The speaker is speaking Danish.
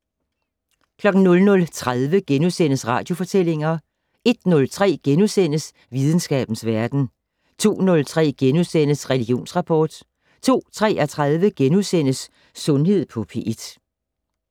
00:30: Radiofortællinger * 01:03: Videnskabens Verden * 02:03: Religionsrapport * 02:33: Sundhed på P1 *